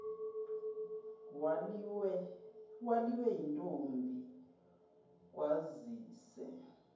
waliwe yintombi kwazise